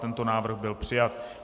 Tento návrh byl přijat.